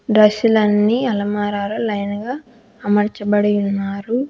Dress లన్నీ అల్మరాలో line గా అమర్చబడి ఉన్నారు.